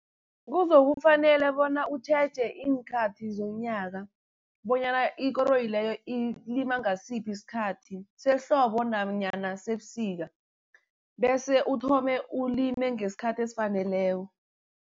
Kuzokufanele bona utjheje iinkhathi zonyaka bonyana ikoroyi leyo ilinywa ngasiphi isikhathi sehlobo nanyana sebusika. Bese uthome ulime ngesikhathi esifaneleko.